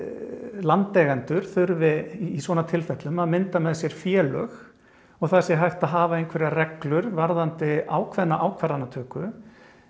landeigendur þurfi í svona tilfellum að mynda með sér félög og það sé hægt að hafa einhverjar reglur varðandi ákveðna ákvarðanatöku